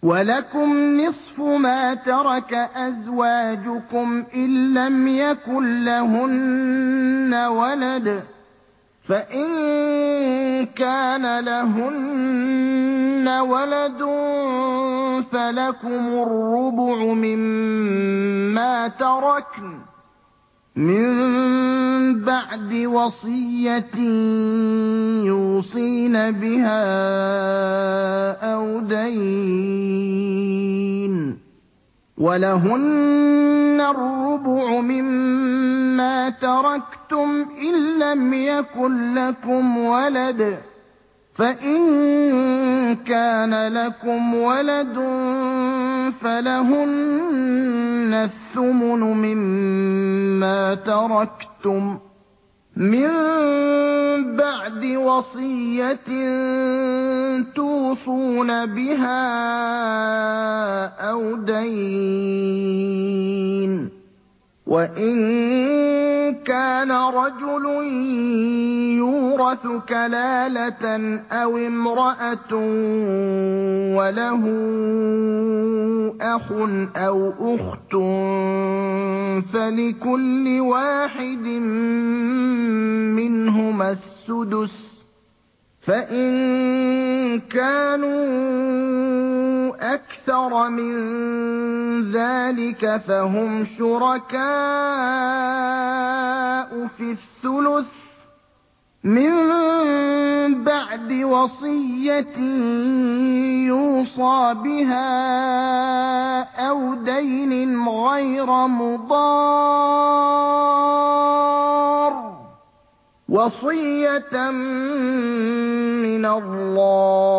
۞ وَلَكُمْ نِصْفُ مَا تَرَكَ أَزْوَاجُكُمْ إِن لَّمْ يَكُن لَّهُنَّ وَلَدٌ ۚ فَإِن كَانَ لَهُنَّ وَلَدٌ فَلَكُمُ الرُّبُعُ مِمَّا تَرَكْنَ ۚ مِن بَعْدِ وَصِيَّةٍ يُوصِينَ بِهَا أَوْ دَيْنٍ ۚ وَلَهُنَّ الرُّبُعُ مِمَّا تَرَكْتُمْ إِن لَّمْ يَكُن لَّكُمْ وَلَدٌ ۚ فَإِن كَانَ لَكُمْ وَلَدٌ فَلَهُنَّ الثُّمُنُ مِمَّا تَرَكْتُم ۚ مِّن بَعْدِ وَصِيَّةٍ تُوصُونَ بِهَا أَوْ دَيْنٍ ۗ وَإِن كَانَ رَجُلٌ يُورَثُ كَلَالَةً أَوِ امْرَأَةٌ وَلَهُ أَخٌ أَوْ أُخْتٌ فَلِكُلِّ وَاحِدٍ مِّنْهُمَا السُّدُسُ ۚ فَإِن كَانُوا أَكْثَرَ مِن ذَٰلِكَ فَهُمْ شُرَكَاءُ فِي الثُّلُثِ ۚ مِن بَعْدِ وَصِيَّةٍ يُوصَىٰ بِهَا أَوْ دَيْنٍ غَيْرَ مُضَارٍّ ۚ وَصِيَّةً مِّنَ اللَّهِ ۗ